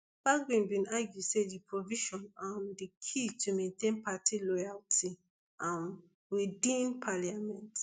bagbin bin argue say di provision um di key to maintain party loyalty um within parliament